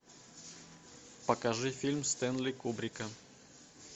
покажи фильм стэнли кубрика